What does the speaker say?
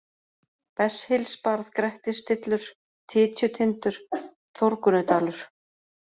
Besshylsbarð, Grettisstillur, Tytjutindur, Þórgunnudalur